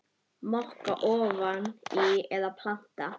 Moka ofan í eða planta?